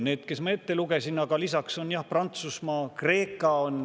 Need, mis ma ette lugesin, ja lisaks on jah Prantsusmaa ja Kreeka.